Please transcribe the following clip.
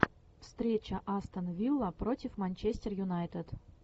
встреча астон вилла против манчестер юнайтед